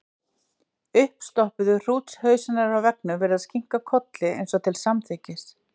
Uppstoppuðu hrútshausarnir á veggnum virðast kinka kolli, eins og til samþykkis.